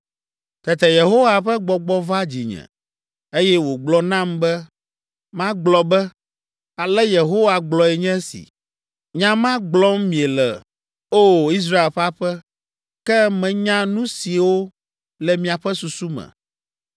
Tete Yehowa ƒe Gbɔgbɔ va dzinye, eye wògblɔ nam be magblɔ be, “Ale Yehowa gblɔe nye esi: nya ma gblɔm miele, O! Israel ƒe aƒe, ke menya nu siwo le miaƒe susu me.